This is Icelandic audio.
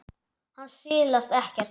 Hann silast ekkert.